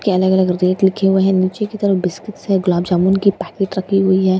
कहने के लिए लिखे हुए हैं नीचे की तरफ बिस्किट्स हैं गुलाबजामुन की पैकीट रखी हुई है ।